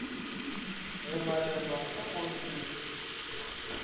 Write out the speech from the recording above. go balelwa ka go se